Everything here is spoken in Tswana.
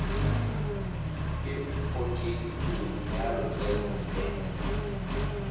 e okeditsweng ya lotseno vat